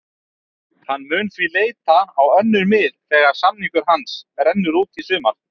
Hann mun því leita á önnur mið þegar samningur hans rennur út í sumar.